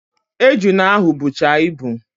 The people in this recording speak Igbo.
Ejuna ahụ bụcha ibu